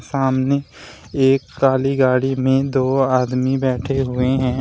सामने एक काली गाड़ी में दो आदमी बैठे हुए हैं।